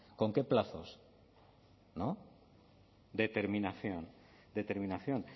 con qué plazos no determinación determinación